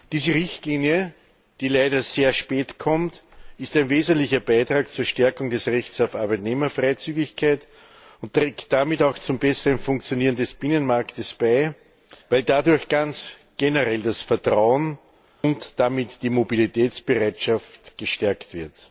Diese Richtlinie, die leider sehr spät kommt, ist ein wesentlicher Beitrag zur Stärkung des Rechts auf Arbeitnehmerfreizügigkeit und trägt damit auch zum besseren Funktionieren des Binnenmarkts bei, weil dadurch ganz generell das Vertrauen und damit die Mobilitätsbereitschaft gestärkt wird.